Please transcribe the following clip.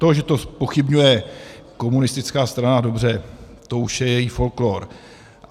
To, že to zpochybňuje komunistická strana, dobře, to už je její folklór.